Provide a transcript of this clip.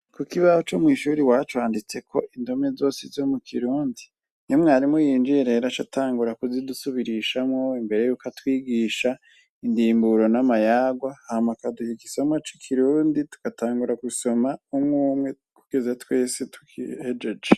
Kukibaho co mwishure iwacu handitseko indome zose zo mukirundi iyo mwarimu yinjiye acatangura kuzidusubirishamwo imbere yuko atwigisha indimburo namayarwa hama akaduha igisomwa cikirundi agatangura gusoma umwumwe kugeza twese dugihejeje